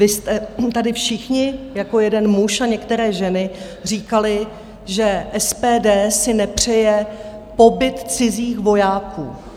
Vy jste tady všichni jako jeden muž a některé ženy říkali, že SPD si nepřeje pobyt cizích vojáků.